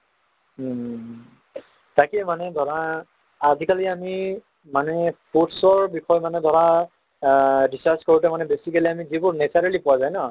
উম, তাকে মানে ধৰা আজিকালি আমি মানুহে বিষয়ে মানে ধৰা অ discuss কৰোতে মানে basically আমি যিবোৰ naturally পোৱা যায় ন